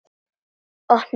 Opna það.